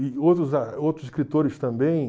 outros escritores também.